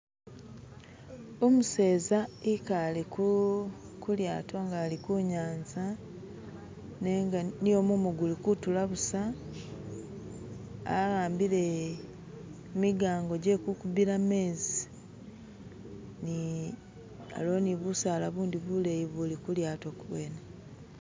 Umuseza ekale kuu kulyato nga ali kunyanza nenga nio mumu gulikutula busa ahambile migango gye kukubila mezi ni aliwo ni busaala bundi buleyi buli kulyato kuwene